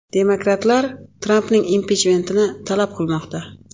Demokratlar Trampning impichmentini talab qilmoqda.